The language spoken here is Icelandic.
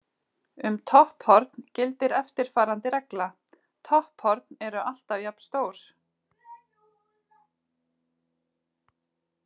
Um topphorn gildir eftirfarandi regla: Topphorn eru alltaf jafnstór.